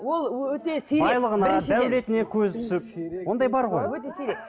ол өте сирек дәулетіне көзі түсіп ондай бар ғой өте сирек